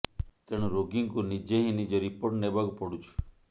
ତେଣୁ ରୋଗୀଙ୍କୁ ନିଜେ ହିଁ ନିଜ ରିପୋର୍ଟ ନେବାକୁ ପଡୁଛି